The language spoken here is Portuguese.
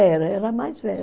Era, era a mais velha.